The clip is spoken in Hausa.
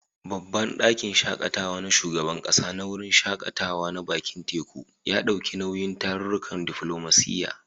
Babban ɗakin shaƙatawa na shugaban ƙasa na wurin shaƙatawa na bakin teku, ya ɗauki nauyin tarurrukan diflomasiyya.